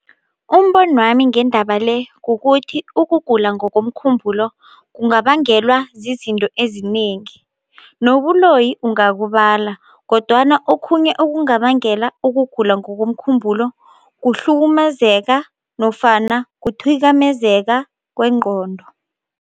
Umbonwami ngendaba le kukuthi ukugula ngokomkhumbulo kungabangelwa zizinto ezinengi nobuloyi ungakubala, kodwana okhunye okungabangela ukugula ngokomkhumbulo kuhlukumezeka nofana kuthwikamezeka kwengqondo.